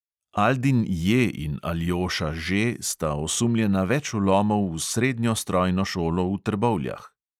Aldin J in aljoša Ž sta osumljena več vlomov v srednjo strojno šolo v trbovljah.